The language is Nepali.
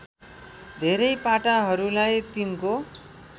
धेरै पाटाहरूलाई तिनको